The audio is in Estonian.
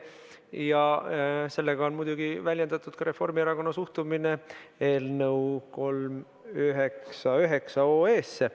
Ja sellega on muidugi väljendatud ka Reformierakonna suhtumine otsuse eelnõusse 399.